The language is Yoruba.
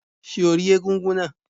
Ṣé o rí egúngún náà?